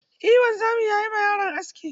Eh wanzami na yi ma yaro aski.